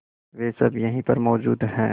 वे सब यहीं पर मौजूद है